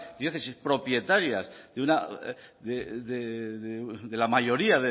diócesis propietarias de la mayoría